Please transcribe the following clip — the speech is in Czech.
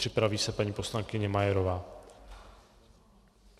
Připraví se paní poslankyně Majerová.